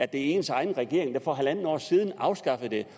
det er ens egen regering der for halvandet år siden afskaffede